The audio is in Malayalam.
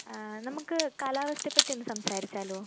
ആഹ് നമുക്ക് കാലാവസ്ഥയെപ്പറ്റി ഒന്ന് സംസാരിച്ചാലോ?